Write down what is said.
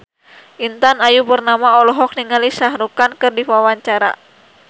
Intan Ayu Purnama olohok ningali Shah Rukh Khan keur diwawancara